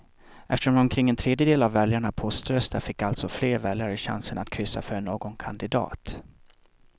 Eftersom omkring en tredjedel av väljarna poströstar fick alltså fler väljare chansen att kryssa för någon kandidat.